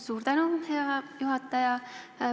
Suur tänu, hea juhataja!